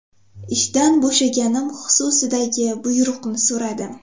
Ishdan bo‘shaganim xususidagi buyruqni so‘radim.